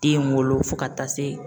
Den wolo fo ka taa se